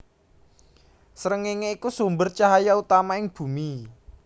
Srengéngé iku sumber cahya utama ing Bumi